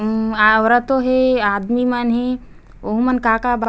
उम्म औरतो हे आदमी मन हे ओहु मन का का बात--